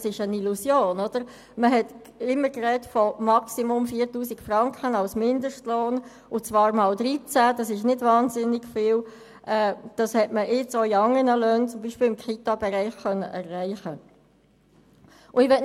Ein Mindestlohn – ich weiss nicht, woher der Betrag von 6000 Franken kommt, dabei handelt es sich um eine Illusion – von maximal 4000 Franken mal 13 konnte andernorts, zum Beispiel im Kitabereich, bereits erreicht werden.